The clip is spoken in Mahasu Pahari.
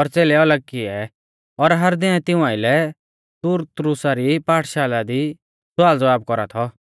और च़ेलै अलग किऐ और हर दिनै तिऊं आइलै तुरत्रुसा री पाठशाला दी स्वालज़वाब कौरा थौ